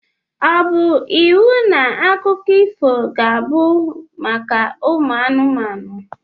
Ọ bu iwu na akụkọ ifo ga abụ maka anumanu?